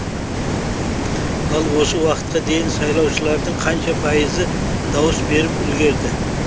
ал осы уақытқа дейін сайлаушылардың қанша пайызы дауыс беріп үлгерді